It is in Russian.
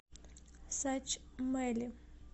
сачмэли